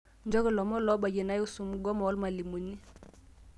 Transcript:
nchooki lomon lobayie naihusu mgomo olmalimuni